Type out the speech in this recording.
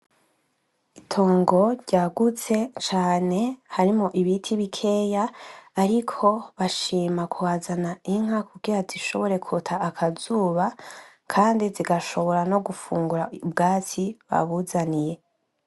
Itongo ryagutse cane harimwo ibiti bikeya bariko bashima kuhazana inka kugira zishobore kwota akazuba kandi zigashobora no gufungura ubwatsi babuzaniye.